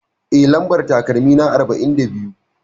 Eh, Lambar takalmina arba'in da biyu.